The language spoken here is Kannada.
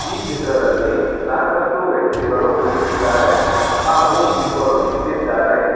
ಈ ಚಿತ್ರದಲ್ಲಿ ಸಾಕಷ್ಟು ವ್ಯಕ್ತಿಗಳು ಕುಳಿತಿದ್ದಾರೆ ಹಾಗೂ ಇಬ್ಬರು ನಿಂತಿದ್ದಾರೆ.